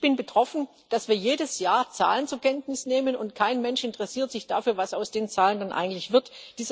Ich bin betroffen, dass wir jedes Jahr Zahlen zur Kenntnis nehmen, und kein Mensch interessiert sich dafür, was aus den Zahlen eigentlich wird.